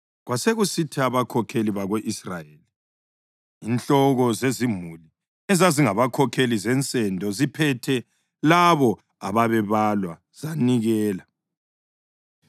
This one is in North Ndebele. Kwasekusithi abakhokheli bako-Israyeli, inhloko zezimuli ezazingabakhokheli zensendo ziphethe labo ababebalwa, zanikela.